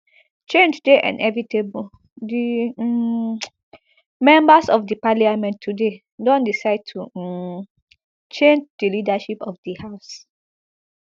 change dey inevitable di um members of di parliament today don decide to um change di leadership of di house